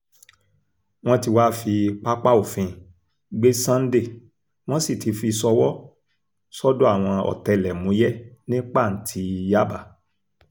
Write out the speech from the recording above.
wọ́n ti wáá fi pápá òfin gbé sunday wọ́n sì ti fi í ṣọwọ́ sọ́dọ̀ àwọn ọ̀tẹlẹ̀múyẹ́ ní pàǹtí yaba